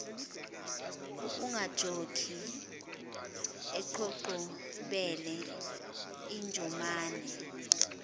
okukajokhi eqhoqhobele injomane